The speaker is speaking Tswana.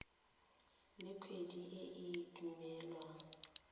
le kgwedi e e duelwang